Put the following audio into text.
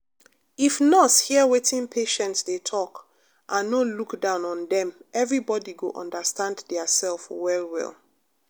if nurse hear wetin patient dey talk and no look down on dem everybody go understand theirself well well.